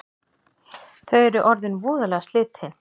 Þau eru orðin voðalega slitin